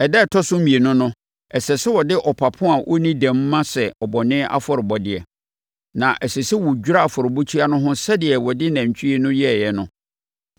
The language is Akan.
“Ɛda a ɛtɔ so mmienu no, ɛsɛ sɛ wode ɔpapo a ɔnni dɛm ma sɛ bɔne afɔrebɔdeɛ, na ɛsɛ sɛ wɔdwira afɔrebukyia no ho sɛdeɛ wɔde nantwie no yɛeɛ no.